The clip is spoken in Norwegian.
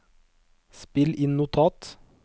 spill inn notat